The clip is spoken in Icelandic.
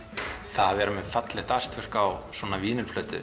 það að vera með fallegt á